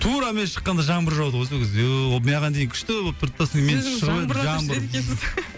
тура мен шыққанда жаңбыр жауды ғой сол кезде маған дейін күшті болып тұрды да